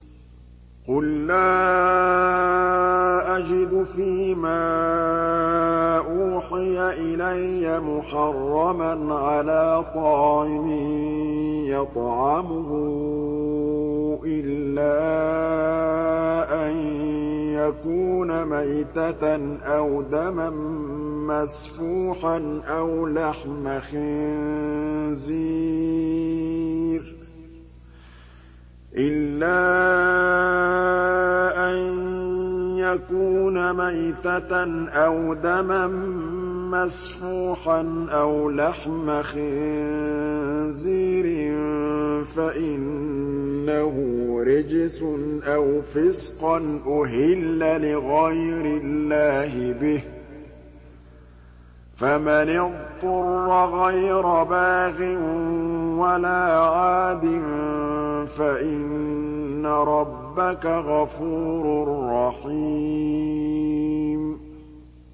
قُل لَّا أَجِدُ فِي مَا أُوحِيَ إِلَيَّ مُحَرَّمًا عَلَىٰ طَاعِمٍ يَطْعَمُهُ إِلَّا أَن يَكُونَ مَيْتَةً أَوْ دَمًا مَّسْفُوحًا أَوْ لَحْمَ خِنزِيرٍ فَإِنَّهُ رِجْسٌ أَوْ فِسْقًا أُهِلَّ لِغَيْرِ اللَّهِ بِهِ ۚ فَمَنِ اضْطُرَّ غَيْرَ بَاغٍ وَلَا عَادٍ فَإِنَّ رَبَّكَ غَفُورٌ رَّحِيمٌ